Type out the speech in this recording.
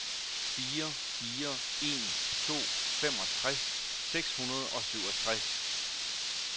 fire fire en to femogtres seks hundrede og syvogtres